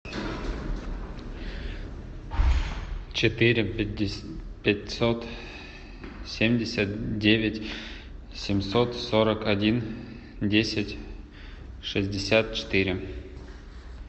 четыре пятьсот семьдесят девять семьсот сорок один десять шестьдесят четыре